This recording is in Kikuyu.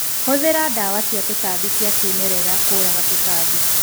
Hũthĩra ndawa cia tũtambi cia kĩmerera kũuraga tũtambi.